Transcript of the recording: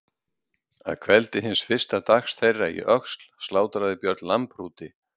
Að kveldi hins fyrsta dags þeirra í Öxl slátraði Björn lambhrúti.